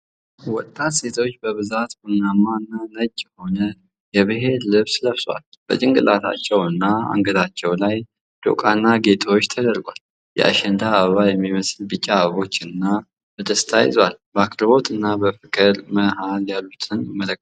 ወጣት ሴቶች በብዛት ቡናማና ነጭ የሆነ የብሔር ልብስ ለብሰዋል። በጭንቅላታቸውና አንገታቸው ላይ ዶቃና ጌጦች ተደርጓል። የአሸንዳ አበባ የሚመስል ቢጫ አበቦችን በደስታ ይዘዋል። በአክብሮትና በፍቅር መሃል ያሉትን ትመለከታሉ።